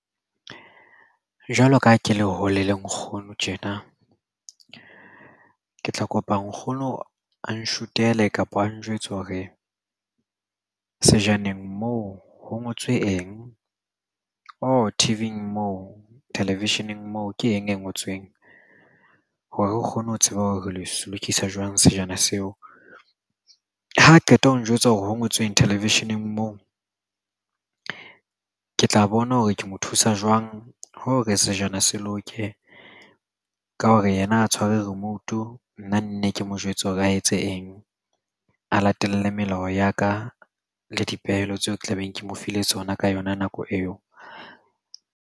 Jwalo ka ha ke le hole le nkgono tjena ke tla kopa nkgono a nshuthele kapa a njwetsa hore sejaneng moo ho ngotswe eng or T_V-ing moo television-eng moo ke eng e ngotsweng hore re kgone ho tseba ho re le lokisa jwang sejana seo ha qeta ho njwetsa hore ho ngotsweng television-eng moo ke tla bona hore ke mo thusa jwang ho re sejana se loke ka hore yena a tshwere remote-u nna nne ke mo jwetse hore a etse eng a latele melao ya ka le dipehelo tseo tla beng ke mo file tsona ka yona nako eo.